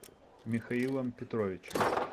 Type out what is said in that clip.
михаилом петровичем